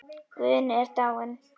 Guðni er dáinn.